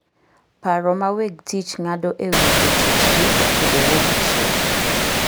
Paro ma weg tich ng'ado e wi jotichgi otudore gi chik.